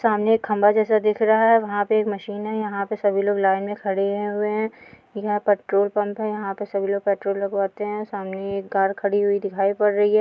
सामने एक खम्भा जैसा दिख रहा है वहाँ पर एक मशीन है | यहाँ पर सभी लोग लाइन में खड़े हुए हैं| यहाँ पेट्रोल पंप है यहाँ पर सभी पेट्रोल लगवाते हैं सामने एक कार खड़ी हुई दिखाई पड़ रही है।